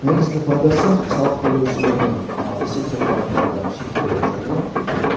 негізгі пайдасы салық төлеушілердің есепшоттарындағы шектеулер жойылады